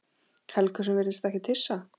Helgu sem virðist ekkert hissa.